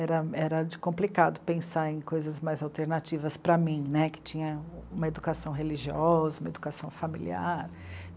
Era, era complicado pensar em coisas mais alternativas para mim, né, que tinha uma educação religiosa, uma educação familiar.